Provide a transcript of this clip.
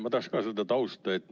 Ma tahaks ka seda tausta teada.